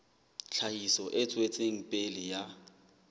tlhahiso e tswetseng pele ya